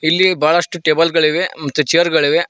ಇಲ್ಲಿ ಬಳಷ್ಟು ಟೇಬಲ್ ಗಳಿವೆ ಮತ್ತ ಚೇರ್ ಗಳಿವೆ.